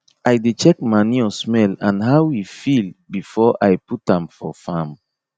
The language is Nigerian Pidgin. i dey check manure smell and how e feel before i put am for farm